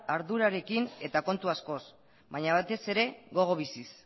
ardurarekin eta kontu askoz baina batez ere gogo biziz